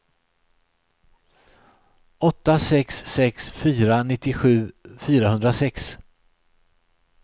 åtta sex sex fyra nittiosju fyrahundrasex